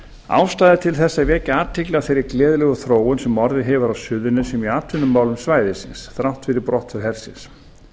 ástæða er til þess að vekja athygli á þeirri gleðilegu þróun sem orðið hefur á suðurnesjum í atvinnumálum svæðisins þrátt fyrir brottför hersins